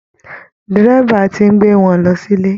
Dẹ́rẹ́bà ti ń gbé wọn lọ sílé